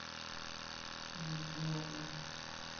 я не знаю